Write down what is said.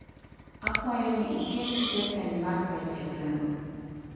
akwayoni iket stesen mar red f.m.